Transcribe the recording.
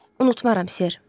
Unutmaram ser.